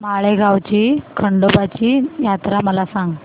माळेगाव ची खंडोबाची यात्रा मला सांग